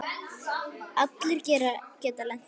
Allir geta lent í því.